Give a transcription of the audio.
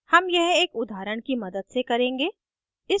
हम यह एक उदाहरण की मदद से करेंगे